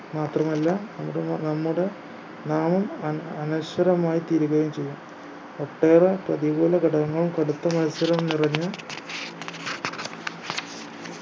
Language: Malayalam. മാത്രമല്ല നമ്മുടെ നമ്മുടെ നാമം അന അനശ്വരമായി തീരുകയും ചെയ്യും ഒട്ടേറെ പ്രതികൂല ഘടകങ്ങളും കടുത്ത മത്സരവും നിറഞ്ഞ